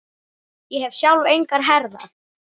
Ég hef sjálf engar herðar.